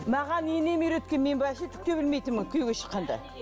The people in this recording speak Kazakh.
маған енем үйреткен мен вообще түк те білмейтінмін күйеуге шыққанда